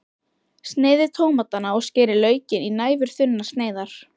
Sneiðið tómatana og skerið laukinn í næfurþunnar sneiðar.